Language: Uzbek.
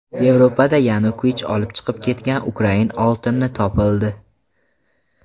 Yevropada Yanukovich olib chiqib ketgan ukrain oltini topildi.